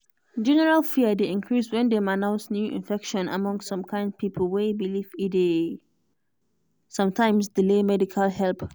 general fear dey increase when dem announce new infection among some kind pipo way believe e dey some times delay medical help.